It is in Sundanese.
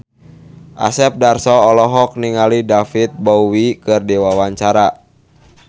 Asep Darso olohok ningali David Bowie keur diwawancara